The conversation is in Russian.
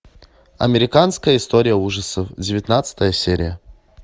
американская история ужасов девятнадцатая серия